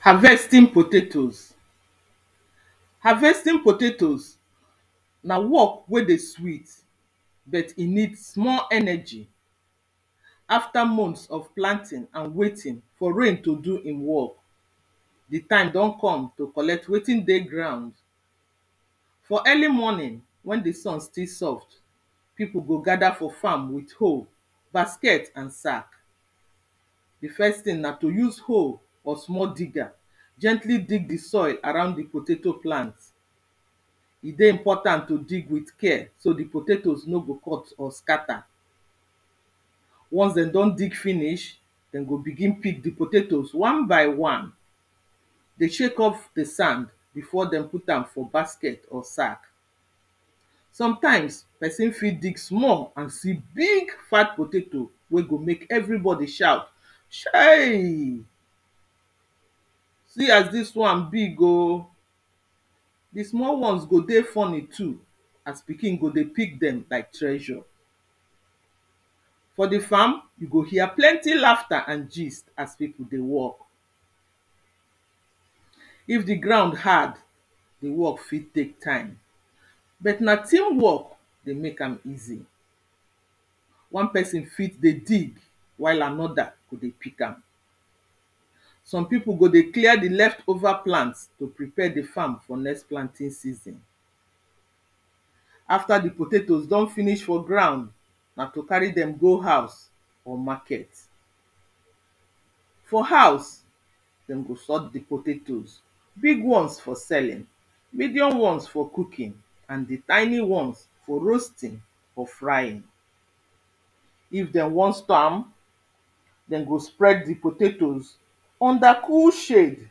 Harvesting potatoes pause harvesting potatoes na work wey dey sweet pause but e need small energy After months of planting and waiting for rain to do im work, di time don come to collect wetin dey ground For early morning wen di sun still soft, pipo go gather for farm with hoe, basket and sack Di first tin na use hoe or small digger, gently dig di soil around di potato plant E dey important to dig with care, so di potato nor go cut or scatter Once dem don dig finish, dem go begin pick di potatoes wan by wan dey shake off di sand, before dem put am for basket or sack Sometimes pesin fit dig small and see big fat potato wen go make everybody shout chei See as dis wan big o pause di small wans go dey funny too as pikin go dey pick dem like treasure For di farm you go hear plenty lafta and gist as pipo dey work If di ground, hard di work fit take time but na team work go make am easy wan pesin fit dey dig, while anoda go dey pick am Some pipo go dey clear di leftover plant to prepare di farm for di next planting season After di potato don finish for ground na to carry dem go house or market For house, dem go sought di potatoes big wans for selling, medium wans for cooking and di tiny ones for roasting or frying if dem wan store am pause dem go spread di potato pause under cool shade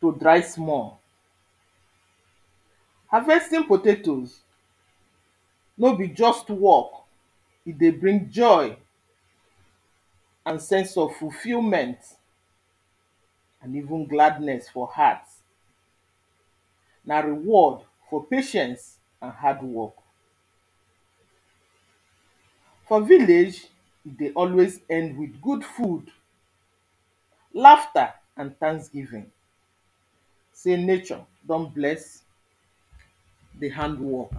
go dry small pause. harvesting potatoes pause nor be just work E dey bring joy pause and sense of fulfillment pause even gladness for heart Na reward for patience and hard work pause. For village e dey always end with good food pause lafta and thanksgiving sey nature don bless pause di hand work